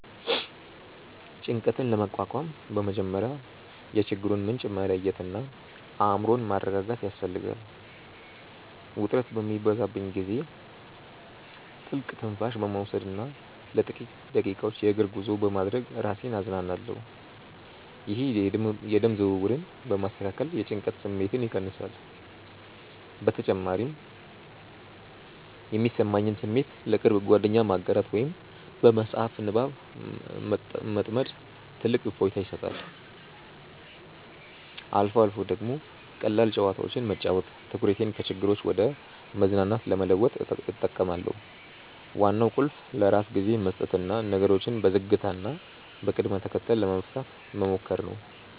ጭንቀትን ለመቋቋም በመጀመሪያ የችግሩን ምንጭ መለየትና አእምሮን ማረጋጋት ያስፈልጋል። ውጥረት በሚበዛብኝ ጊዜ ጥልቅ ትንፋሽ በመውሰድና ለጥቂት ደቂቃዎች የእግር ጉዞ በማድረግ ራሴን አዝናናለሁ። ይህ የደም ዝውውርን በማስተካከል የጭንቀት ስሜትን ይቀንሳል። በተጨማሪም የሚሰማኝን ስሜት ለቅርብ ጓደኛ ማጋራት ወይም በመጽሐፍ ንባብ መጥመድ ትልቅ እፎይታ ይሰጣል። አልፎ አልፎ ደግሞ ቀላል ጨዋታዎችን መጫወት ትኩረቴን ከችግሮች ወደ መዝናናት ለመለወጥ እጠቀማለሁ። ዋናው ቁልፍ ለራስ ጊዜ መስጠትና ነገሮችን በዝግታና በቅደም ተከተል ለመፍታት መሞከር ነው።